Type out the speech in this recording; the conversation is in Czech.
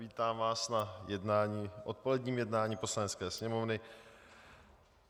Vítám vás na odpoledním jednání Poslanecké sněmovny.